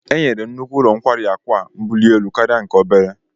Enyere nnukwu ụlọ nkwari akụ a mbuli elu karịa nke obere